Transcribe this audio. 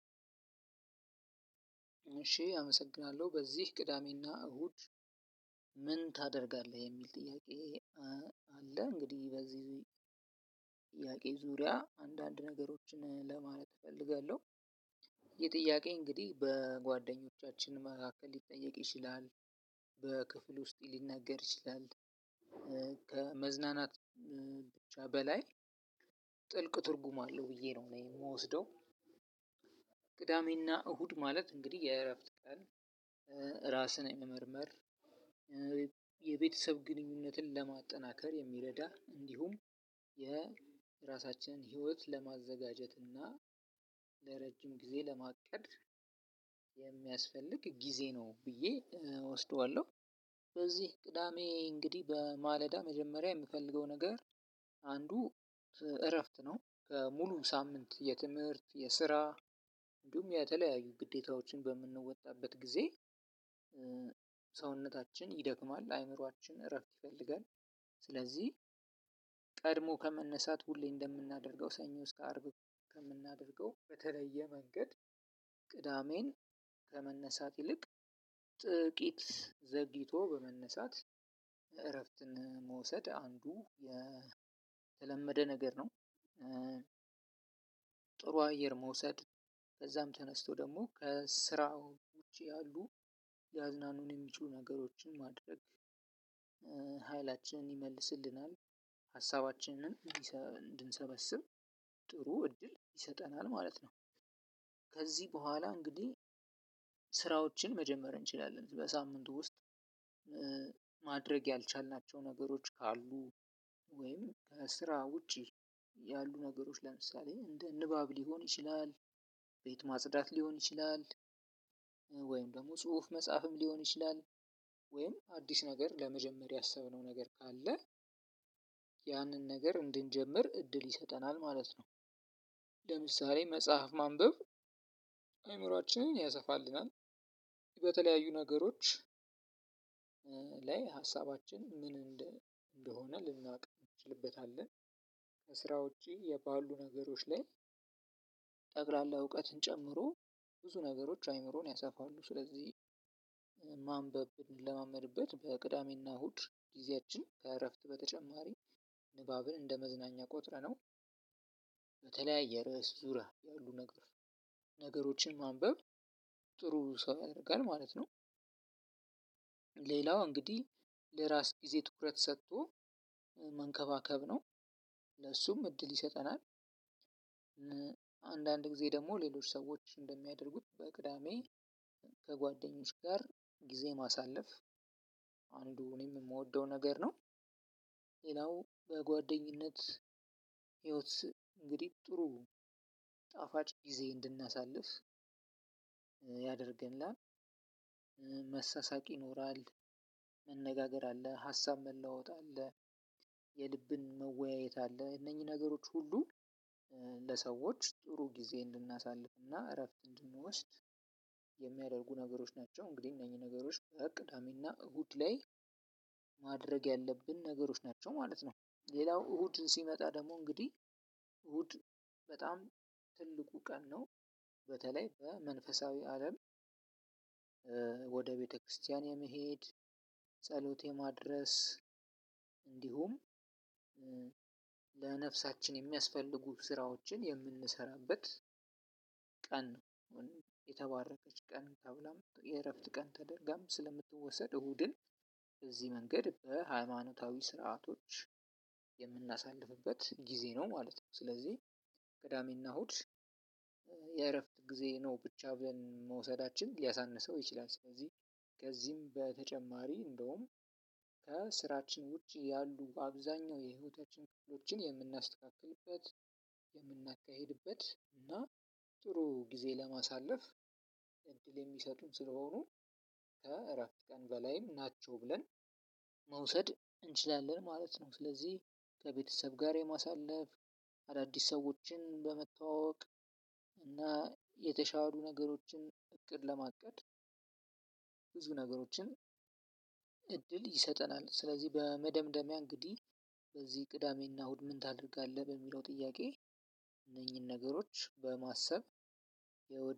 እሺ አመሰግናለሁ በዚህ ቅዳሜ እና እሁድ ምን ታደርጋለህ የሚል ጥያቄ። አለ እንግዲህ በዚህ ጥያቄ ዙሪያ አንዳንድ ነገሮችን ለማለት እፈልጋለሁ። ይህ ጥያቄ እንግድህ በጓደኞቻችን መካከል ሊጠየቅ ይችላል። በክፍል ውስጥ ሊነገር ይችላል። ከመዝናናት ብቻ በላይ ጥልቅ ትርጉም አለው ብዬ ነው የምወስደው። ቅዳሜ እና እሁድ ማለት እንግድህ የእረፍት ቀን። እራስን የመመርመር የቤተሰብ ግንኙነትን ለማጠናከር የሚረዳ እንድሁም የራሳችንን ህይወት ለማዘጋጀት እና ለረጅም ጊዜ ለማቀድ የሚያስፈልግ ጊዜ ነው ብዬ እወስደዋለሁ። በዚህ ቅዳሜ እንግድህ በማለዳ መጀመሪያ የምፈልገው ነገር እረፍት ነው። ሙሉ ሳምንት የትምህርት የስራ እንድሁም የተለያዩ ግዴታዎችን በምንወጣበት ጊዜ ሰውነታችን ይደክማል አይምሮአችን እረፍት ይፈልጋል። ስለዚህ ቀድሞ ከመነሳት ሁሌ እንደምናደርገው ሰኞ እስከ አርብ ከምናደርገው በተለየ መንገድ ቅዳሜን ከመነሳት ይልቅ ጥቂት ዘግይቶ በመነሳት እረፍትን መውሰድ አንዱ የተለመደ ነገር ነው። ጥሩ አየር መውሰድ ከዛም ተነስቶ ደግሞ ከስራው ውጪ ያሉ ያዝናኑን የሚችሉ ነገሮችን ማድረግ። ይመልስልናል ሀሳባችንን እንድንሰበስብ ጥሩ እድል ይሰጠናል ማለት ነው። ከዚህ በኋላ እንግዲህ ስራዎችን መጀመር እንችላለን በሳምንቱ ውስጥ። ማድረግ ያልቻልናቸው ነገሮች ካሉ ወይም ከስራ ውጪ ያሉ ነገሮች ለምሳሌ እንደ ንባብ ሊሆን ይችላል። ቤት ማጽዳት ሊሆን ይችላል። ወይም ደግሞ ጽሁፍ መጽሐፍም ሊሆን ይችላል ወይም አዲስ ነገር ለመጀመሪያ ያሰብነው ነገር ካለ ያንን ነገር እንድንጀምር እድል ይሰጠናል ማለት ነው። ለምሳሌ መጽሐፍ ማንበብ አእምሮአችንን ያሰፋልናል በተለያዩ ነገሮች ላይ ሀሳባችን ምን እንደሆነ ልናውቅ እንችልበታለን። ከስራ ውጪ የባሉ ነገሮች ላይ ጠቅላላ እውቀትን ጨምሮ ብዙ ነገሮች አእምሮን ያሰፋሉ። ስለዚህ ማንበብ ልለማመድበት በቅዳሜ እና እሁድ ጊዜያችን ከእረፍት በተጨማሪ ንባብን እንደመዝናኛ ቆጥረነው። በተለያየ ርዕስ ዙሪያ ያሉ ነገር ነገሮችን ማንበብ ጥሩ ሰው ያደርጋል ማለት ነው። ሌላው እንግዲህ ለራስ ጊዜ ትኩረት ሰጥቶ መንከባከብ ነው ለሱም እድል ይሰጠናል። አንዳንድ ጊዜ ደግሞ ሌሎች ሰዎች እንደሚያደርጉት በቅዳሜ ከጓደኞች ጋር ጊዜ ማሳለፍ አንዱ እኔም የምወደው ነገር ነው። ሌላው በጓደኝነት ህይወት እንግዲህ ጥሩ ጣፋጭ ጊዜ እንድናሳልፍ ያደርገናል። መሳሳቅ ይኖራል መነጋገር አለ ሀሳብ መለዋወጥ አለ የልብን መወያየት አለ እነኚህ ነገሮች ሁሉ ለሰዎች ጥሩ ጊዜ እንድናሳልፍና እረፍት እንድንወስድ የሚያደርጉ ነገሮች ናቸው። እንግዲህ እነኚህ ነገሮች በቅዳሜ እና እሁድ ላይ ማድረግ ያለብን ነገሮች ናቸው ማለት ነው። ሌላው እሁድ ሲመጣ ደግሞ እንግዲህ እሁድ በጣም ትልቁ ቀን ነው። በተለይ በመንፈሳዊ አለም ወደ ቤተክርስቲያን የመሄድ ጸሎት የማድረስ እንዲሁም ለነፍሳችን የሚያስፈልጉ ስራዎችን የምንሰራበት ቀን ነው የተባረከች ቀን ተብላ የእረፍት ቀን ተደርጋም ስለምትወሰድ እሁድን በዚህ መንገድ በሃይማኖታዊ ስርዓቶች የምናሳልፍበት ጊዜ ነው ማለት ነው። ስለዚህ ገዳሜ እና እሁድ የእረፍት ጊዜ ነው ብቻ ብለን መውሰዳችን ሊያሳንሰው ይችላል። ስለዚህ ከዚህም በተጨማሪ እንደውም ከስራችን ውጪ ያሉ አብዛኛው የህይወታችን ክፍሎችን የምናስተካክልበት የምናካሂድበት እና ጥሩ ጊዜ ለማሳለፍ እድል የሚሰጡን ስለሆኑ ከእረፍት ቀን በላይም ናቸው ብለን መውሰድ እንችላለን ማለት ነው። ስለዚህ ከቤተሰብ ጋር የማሳለፍ አዳዲስ ሰዎችን በመተዋወቅ እና የተሻሩ ነገሮችን እቅድ ለማቀድ ብዙ ነገሮችን እድል ይሰጠናል። ስለዚህ በመደምደሚያ እንግዲህ በዚህ ቅዳሜ እና እሁድ ምን ታደርጋለህ በሚለው ጥያቄ እነኚህን ነገሮች በማሰብ